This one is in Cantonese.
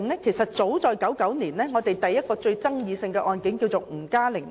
其實早在1999年，第一宗最具爭議的案件是吳嘉玲案。